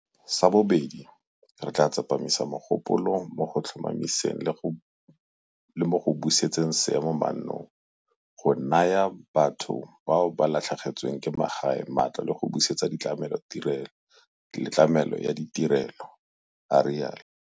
Sa bobedi, re tla tsepamisa mogopolo mo go tlhomamiseng le mo go busetseng seemo mannong, go naya batho bao ba latlhegetsweng ke magae matlo le go busetsa tlamelo ya ditirelo, a rialo.